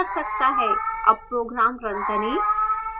अब program now करें